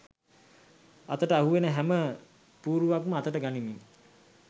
අතට අහුවෙන හැම පූරුවක්ම අතට ගනිමින් '